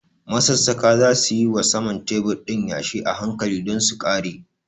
Masassaƙa za su yi wa saman tebur ɗin yashi a hankali don su ƙare.